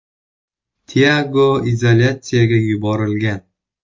Tiago izolyatsiyaga yuborilgan.